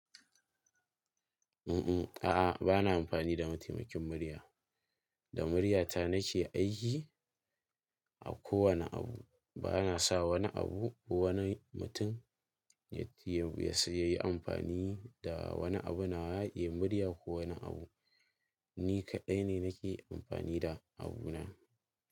Mm, a'a, ba na amfani da mataimakin murya. Da murya ta nake aiki a kowane abu. Ba na sa wani abu ko wani mutum ya sai ya yi amfani da wani abu na ya yi murya ko wani abu. Ni kaɗai ne nake amfani da abu na.